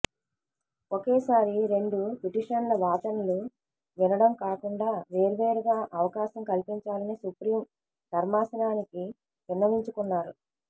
ఒకేసారి రెండు పిటిషన్ల వాదనలు వినడం కాకుండా వేర్వేరుగా అవకాశం కల్పించాలని సుప్రీం ధర్మాసనానికి విన్నవించుకున్నారు